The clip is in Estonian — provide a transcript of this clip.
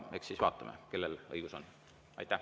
Eks siis vaatame, kellel õigus on.